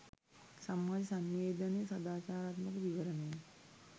සමාජ සන්නිවේදනය සදාචාරාත්මක විවරණය